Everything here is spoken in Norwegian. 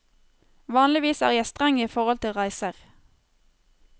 Vanligvis er jeg streng i forhold til reiser.